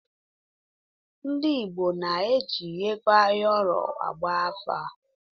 Ndị Igbo na-eji ego ayọrọ agba afa.